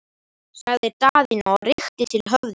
sagði Daðína og rykkti til höfðinu.